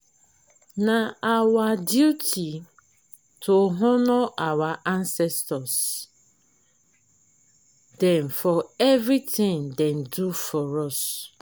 na our duty to honour our ancestor dem for everytin dem do for us.